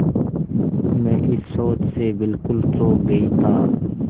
मैं इस शोध से बिल्कुल चौंक गई था